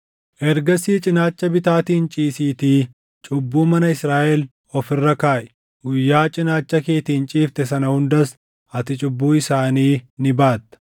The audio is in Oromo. “Ergasii cinaacha bitaatiin ciisiitii cubbuu mana Israaʼel of irra kaaʼi. Guyyaa cinaacha keetiin ciifte sana hundas ati cubbuu isaanii ni baatta.